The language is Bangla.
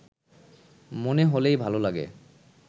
মনে হলেই ভালো লাগে